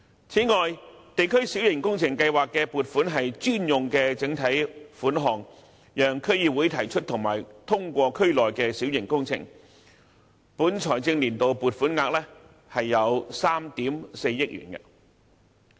此外，地區小型工程計劃的撥款是專用的整體款項，讓區議會提出和通過區內的小型工程，本財政年度的撥款額為3億 4,000 萬元。